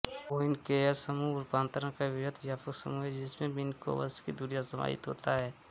Poincaré समूह रूपांतरण का वृहत् व्यापक समूह है जिसमें मिन्कोवसकी दूरिक समाहित होता है